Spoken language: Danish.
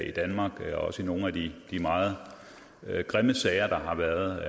i danmark også i nogle af de meget grimme sager der har været